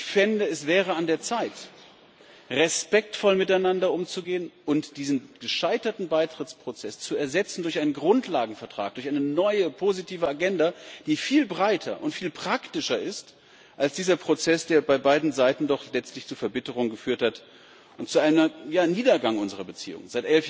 Ich fände, es wäre an der Zeit, respektvoll miteinander umzugehen und diesen gescheiterten Beitrittsprozess zu ersetzen durch einen Grundlagenvertrag, durch eine neue positive Agenda, die viel breiter und viel praktischer ist als dieser Prozess, der bei beiden Seiten doch letztlich zu Verbitterung geführt hat und zu einem Niedergang unserer Beziehungen.